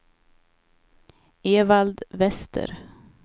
Evald Wester